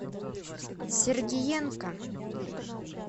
сергеенко